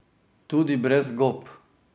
Tudi brez gob?